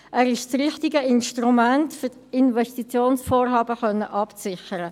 Er ist das richtige Instrument, um die Investitionsvorhaben abzusichern.